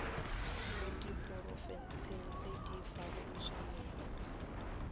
mo diporofenseng tse di farologaneng